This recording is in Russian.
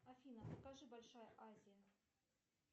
афина покажи большая азия